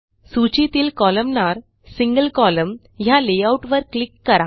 सूचीतील कोलमनार single column ह्या लेआउट वर क्लिक करा